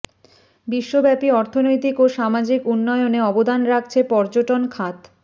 বিশ্বব্যাপী অর্থনৈতিক ও সামাজিক উন্নয়নে অবদান রাখছে পর্যটন খাত